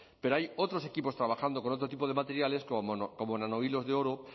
pero hay otros equipos trabajando con otro tipo de materiales como nanohilos de oro